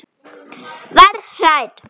Verð hrædd.